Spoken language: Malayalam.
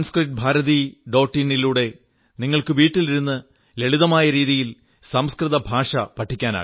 in യിലൂടെ നിങ്ങൾക്ക് വീട്ടിലിരുന്നു ലളിതമായ രീതിയിൽ സംസ്കൃതഭാഷ പഠിക്കാനാകും